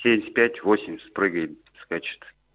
семьдесят пять восемьдесят прыгает скачет